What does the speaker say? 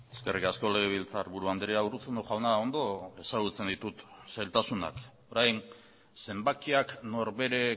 eskerrik asko legebiltzarburu andrea urruzuno jauna ondo ezagutzen ditut zailtasunak orain zenbakiak norbere